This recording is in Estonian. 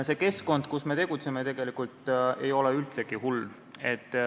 See keskkond, kus me tegutseme, ei ole üldsegi hull.